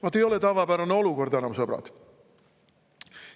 Vaat ei ole tavapärane olukord enam, sõbrad!